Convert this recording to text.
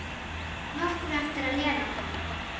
Nokkru eftir að Lena kom.